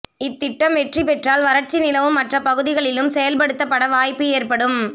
இத்திட்டம் வெற்றி பெற்றால் வறட்சி நிலவும் மற்ற பகுதிகளிலும் செயல்படுத்தப்பட வாய்ப்பு ஏற்படும்